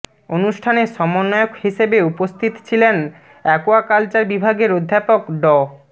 অনুষ্ঠানে সমন্বয়ক হিসেবে উপস্থিত ছিলেন অ্যাকোয়াকালচার বিভাগের অধ্যাপক ড